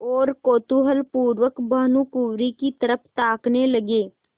और कौतूहलपूर्वक भानुकुँवरि की तरफ ताकने लगे